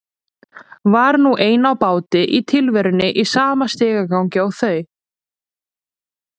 Var nú ein á báti í tilverunni í sama stigagangi og þau.